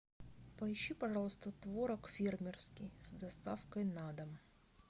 поищи пожалуйста творог фермерский с доставкой на дом